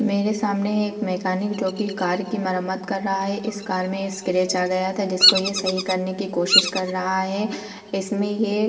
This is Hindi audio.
मेरे सामने एक मैकेनिक जोकि कार की मरम्मत कर रहा है। इस कार में स्क्रैच आ गया था जिसको ये सही करने की कोशिश कर रहा है। इसमें ये --